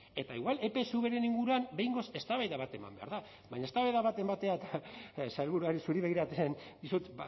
eta igual epsvren inguruan behingoz eztabaida bat eman behar da baina eztabaida bat ematea eta sailburuari zuri begiratzen dizut